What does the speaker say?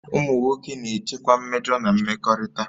Ụmụ nwoke na-echekwa mmejọ na mmekọrịta